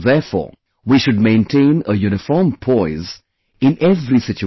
Therefore, we should maintain a uniform poise have in every situation